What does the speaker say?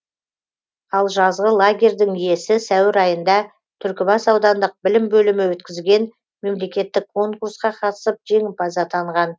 ал жазғы лагерьдің иесі сәуір айында түлкібас аудандық білім бөлімі өткізген мемлекеттік конкурсқа қатысып жеңімпаз атанған